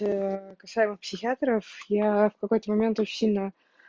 касаемо психиатров я в какой-то момент очень сильно